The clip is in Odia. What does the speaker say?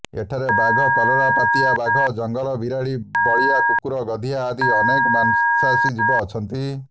ଏଠାରେ ବାଘ କଲରାପତରିଆ ବାଘ ଜଙ୍ଗଲ ବିରାଡି ବଳିଆ କୁକୁର ଗଧିଆ ଆଦି ଅନେକ ମାଂସାଶୀ ଜୀବ ଅଛନ୍ତି